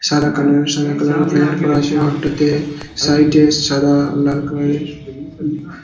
সাদা কালার সাদা কালার - এর পেইন্ট করা আছে ঘরটাতে-এ সাইড - এ সাদা লাল কালার -এর ।